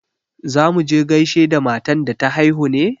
Za mu je gaishe da matan da ta haihu ne?